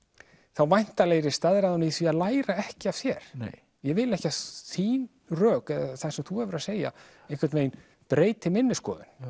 þá væntanlega er ég staðráðinn í því að læra ekki af þér ég vil ekki að þín rök eða það sem þú hefur að segja einhvern veginn breyti minni skoðun